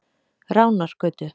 Ránargötu